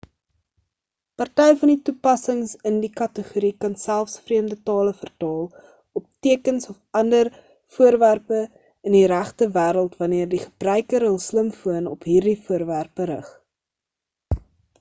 party van die toepassings in die kategorie kan selfs vreemde tale vertaal op tekens of ander voorwerpe in die regte wêreld wanneer die gebruiker hul slimfoon op hierdie voorwerpe rig